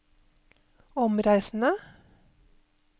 omreisende